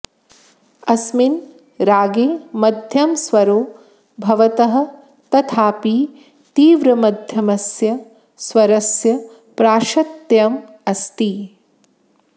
अस्मिन् रागे मध्यमस्वरौ भवतः तथापि तीव्रमध्यमस्य स्वरस्य प्राशस्त्यम् अस्ति